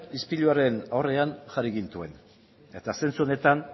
ispiluaren aurrean jarri gintuen eta zentzu honetan